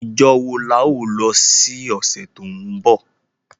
Ijo wo la o lo si ọ̀sẹ̀ to nbọ?